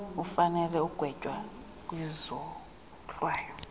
ufanele ukugwetywa kwizohlwayo